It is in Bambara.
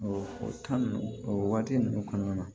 o o waati ninnu kɔnɔna na